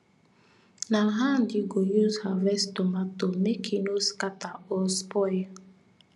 na hand you go use harvest tomato make e no scatter or spoil